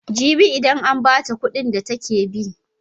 Jibi idan an ba ta kuɗin da take bi.